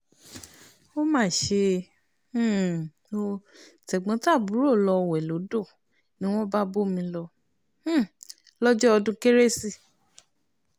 ó mà ṣe um ò tẹ̀gbọ́n-tàbúrò lọ́ọ́ wé lódò ni wọ́n bá bómi lọ um lọ́jọ́ ọdún kérésì